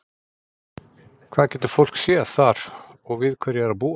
Hvað getur fólk séð þar og við hverju á að búast?